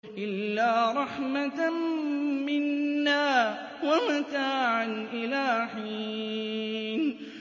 إِلَّا رَحْمَةً مِّنَّا وَمَتَاعًا إِلَىٰ حِينٍ